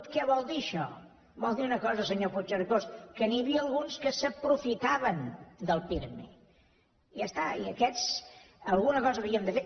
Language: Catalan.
què vol dir això vol dir una cosa senyor puigcercós que n’hi havia alguns que s’aprofitaven del pirmi i ja està i amb aquests alguna cosa havíem de fer